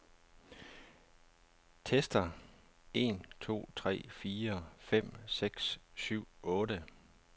Tester en to tre fire fem seks syv otte.